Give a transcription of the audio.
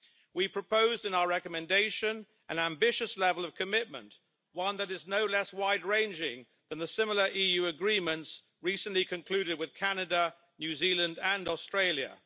We proposed in our recommendation an ambitious level of commitment, one that is no less wide ranging than the similar EU agreements recently concluded with Canada, New Zealand and Australia.